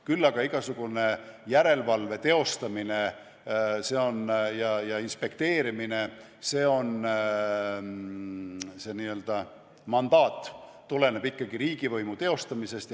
Küll aga tuleneb igasuguse järelevalve ja inspekteerimise n-ö mandaat ikkagi riigivõimu teostamisest.